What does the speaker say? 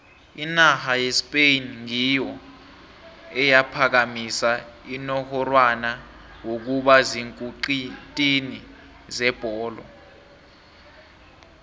inarha yespain ngiyo eyaphakamisa unongorwana wokuba ziinkutini zebholo